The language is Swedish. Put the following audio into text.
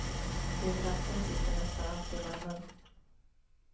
Vid ratten sitter nästan alltid mannen.